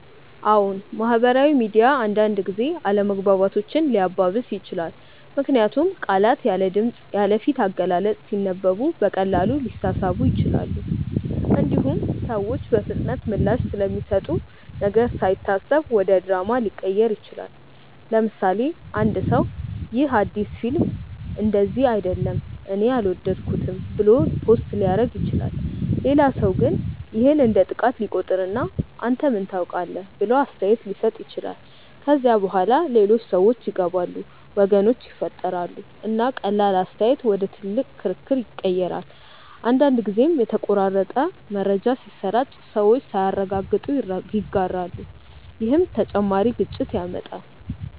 አዎን፣ ማህበራዊ ሚዲያ አንዳንድ ጊዜ አለመግባባቶችን ሊያባብስ ይችላል። ምክንያቱም ቃላት ያለ ድምፅ፣ ያለ ፊት አገላለጽ ሲነበቡ በቀላሉ ሊሳሳቡ ይችላሉ። እንዲሁም ሰዎች በፍጥነት ምላሽ ስለሚሰጡ ነገር ሳይታሰብ ወደ ድራማ ሊቀየር ይችላል። ለምሳሌ፣ አንድ ሰው “ይህ አዲስ ፊልም እንደዚህ አይደለም እኔ አልወደድኩትም” ብሎ ፖስት ሊያደርግ ይችላል። ሌላ ሰው ግን ይህን እንደ ጥቃት ሊቆጥር እና “አንተ ምን ታውቃለህ?” ብሎ አስተያየት ሊሰጥ ይችላል። ከዚያ በኋላ ሌሎች ሰዎች ይገባሉ፣ ወገኖች ይፈጠራሉ፣ እና ቀላል አስተያየት ወደ ትልቅ ክርክር ይቀየራል። አንዳንድ ጊዜም የተቆራረጠ መረጃ ሲሰራጭ ሰዎች ሳያረጋግጡ ይጋራሉ፣ ይህም ተጨማሪ ግጭት ያመጣል።